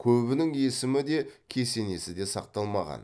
көбінің есімі де кесенесі де сақталмаған